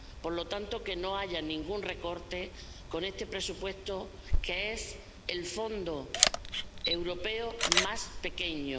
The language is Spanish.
Por lo tanto, que no se haga ningún recorte a este presupuesto, que es el Fondo europeo más pequeño.